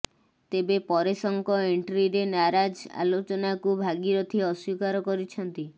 ତେବେ ପରେଶଙ୍କ ଏଣ୍ଟ୍ରିରେ ନାରାଜ ଆଲୋଚନାକୁ ଭାଗିରଥୀ ଅସ୍ବୀକାର କରିଛନ୍ତି